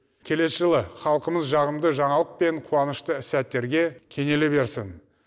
келесі жылы халқымыз жағымды жаңалық пен қуанышты сәттерге кенеле берсін